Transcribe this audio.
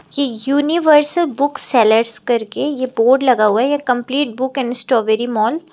ये universal book sellers करके ये बोर्ड लगा हुआ है यह complete book and strawberry mall.